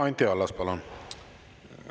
Anti Allas, palun!